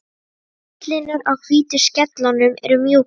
Útlínur á hvítu skellunum eru mjúkar.